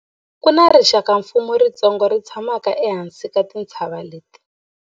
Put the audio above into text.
ku na rixakamfuwo ritsongo ri tshamaka ehansi ka tintshava leti